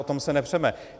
O tom se nepřeme.